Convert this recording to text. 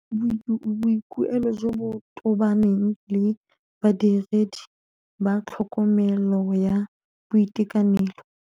Boikuelo jo bo tobaneng le Badiredi ba tlhokomelo ya boitekanelo.